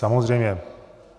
Samozřejmě.